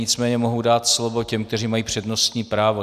Nicméně mohu dát slovo těm, kteří mají přednostní právo.